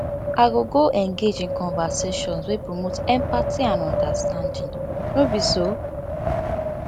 i go go engage in conversations wey promote empathy and understanding no be so